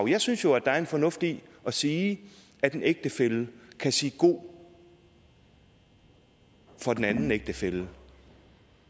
jeg synes jo at der er en fornuft i at sige at en ægtefælle kan sige god for den anden ægtefælle